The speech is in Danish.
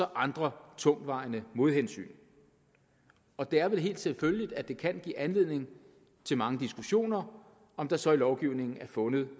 andre tungtvejende modhensyn og det er vel helt selvfølgeligt at det kan give anledning til mange diskussioner om der så i lovgivningen er fundet